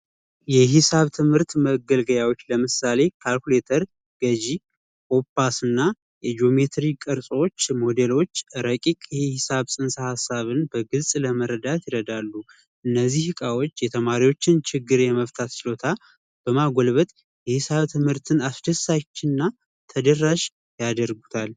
የሒሳብ ትምህርት መገልገያዎች ለምሳሌ ካልኩሌተር ገዢ ና ቅርሶች ሞዴሎች ረቂቅ ሂሳብ ስንት ሀሳብን በግልጽ ለመረዳት እረዳሉ እነዚህ እቃዎች የተማሪዎችን ችግር የመፍታት ችሎታ በማጎልበት የሂሳብ ትምህርትን አስደሳችና ተደራሽ ያደርጉታል